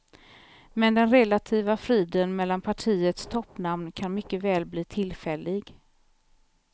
Men den relativa friden mellan partiets toppnamn kan mycket väl bli tillfällig.